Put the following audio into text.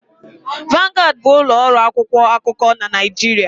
Vanguard bụ ụlọ ọrụ akwụkwọ akụkọ na Naịjirịa.